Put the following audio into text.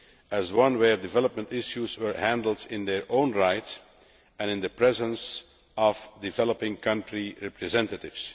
as one where development issues were handled in their own right and in the presence of developing countries' representatives.